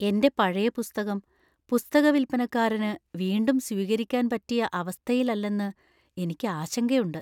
എന്റെ പഴയ പുസ്തകം പുസ്തകവിൽപ്പനക്കാരന് വീണ്ടും സ്വീകരിക്കാൻ പറ്റിയ അവസ്ഥയിലല്ലെന്ന് എനിക്ക് ആശങ്കയുണ്ട്.